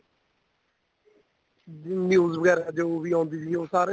news ਵਗੈਰਾ ਜੋ ਆਉਂਦੀ ਸੀ ਉਹ ਸਾਰੇ